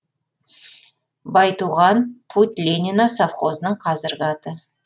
байтуған путь ленина совхозының қазіргі аты